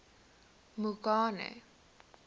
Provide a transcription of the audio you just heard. mongane